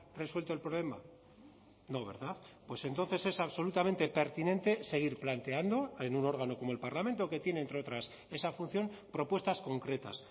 resuelto el problema no verdad pues entonces es absolutamente pertinente seguir planteando en un órgano como el parlamento que tiene entre otras esa función propuestas concretas